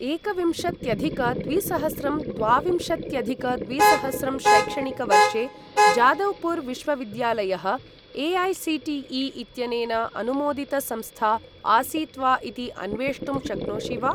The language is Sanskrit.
एकविंशत्यधिक द्विसहस्रं द्वाविंशत्यधिक द्विसहस्रं शैक्षणिकवर्षे जादवपुर् विश्वविद्यालयः ए.ऐ.सी.टी.ई. इत्यनेन अनुमोदितसंस्था आसीत् वा इति अन्वेष्टुं शक्नोषि वा?